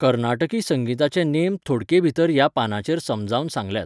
कर्नाटकी संगिताचे नेम थोडकेभाीतर ह्या पानाचेर समजावन सांगल्यात.